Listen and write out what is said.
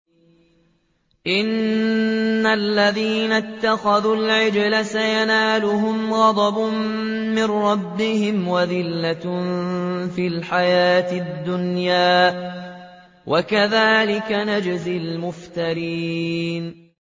إِنَّ الَّذِينَ اتَّخَذُوا الْعِجْلَ سَيَنَالُهُمْ غَضَبٌ مِّن رَّبِّهِمْ وَذِلَّةٌ فِي الْحَيَاةِ الدُّنْيَا ۚ وَكَذَٰلِكَ نَجْزِي الْمُفْتَرِينَ